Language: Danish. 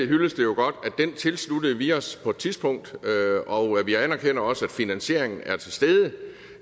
hyllested jo godt at den tilsluttede vi os på et tidspunkt og vi anerkender også at finansieringen er til stede